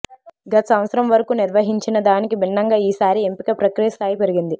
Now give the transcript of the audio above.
గత సంవత్సరం వరకూ నిర్వహించినదానికి భిన్నంగా ఈ సారి ఎంపిక ప్రక్రియ స్థాయి పెరిగింది